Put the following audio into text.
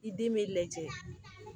I den bɛ lajɛ